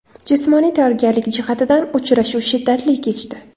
Jismoniy tayyorgarlik jihatidan uchrashuv shiddatli kechdi.